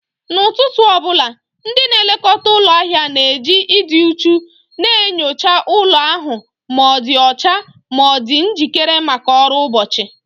N'ụtụtụ ọ bụla, ndị na-elekọta ụlọ ahụ na-eji ịdị uchu na-enyocha ụlọ ahụ ma ọ dị ọcha ma dị njikere maka ọrụ ụbọchị